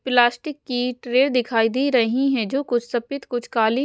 plastic की tray दिखाई दे रही हैं जो कुछ सफेद कुछ काली--